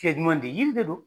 yiri de do.